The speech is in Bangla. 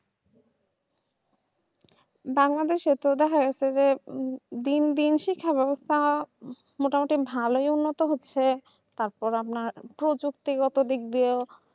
বাংলাদেশের প্রধান হচ্ছে যে দূরদূর ওসি খেলা ব্যবস্থা মোটামুটি ভালোর মতোই হচ্ছে তারপর আপনার প্রযুক্তিগত বিদ্যা